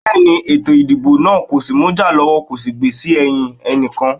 Bẹ́ẹ̀ni, ètò ìdìbò náà kò mú ìjà lọ́wọ́ kò sì gbè sí ẹ̀yìn ẹnìkan.